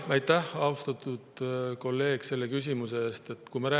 Aitäh, austatud kolleeg, selle küsimuse eest!